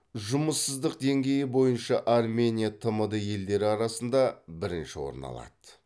жұмыссыздық деңгейі бойынша армения тмд елдері арасында бірінші орын алады